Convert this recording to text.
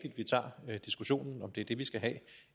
tager diskussionen om om det er det vi skal have